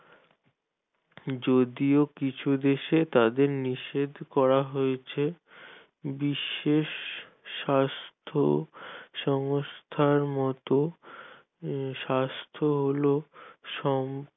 যদিও কিছু দেশে তাদের নিষেধ করা হয়েছে বিশ্বের স্বাস্থ্য সংস্থার মতো স্বাস্থ্য হলো